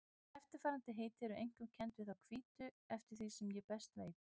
Eftirfarandi heiti eru einkum kennd við þá hvítu eftir því sem ég best veit.